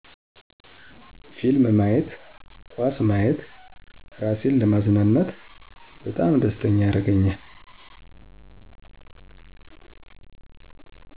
ፊልም ማየት ኳስ ማየት እራሴን ለማዝናናት በጣም ደስተኛ ያረገኛል